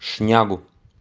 шнягу